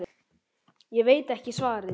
Ég veit ekki svarið.